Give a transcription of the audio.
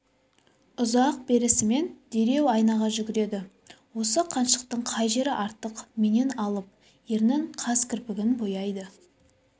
ұзай берісімен дереу айнаға жүгіреді осы қаншықтың қай жері артық меннен алып ернін қас-кірпігін бояйды